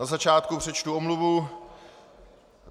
Na začátku přečtu omluvu.